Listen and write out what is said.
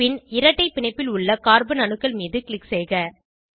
பின் இரட்டை பிணைப்பில் உள்ள கார்பன் அணுக்கள் மீது க்ளிக் செய்க